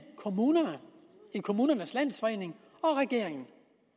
kommunerne ved kommunernes landsforening og regeringen